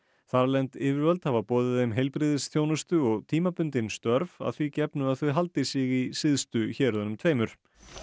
þarlend yfirvöld hafa boðið þeim heilbrigðisþjónustu og tímabundin störf að því gefnu að þau haldi sig í syðstu héruðunum tveimur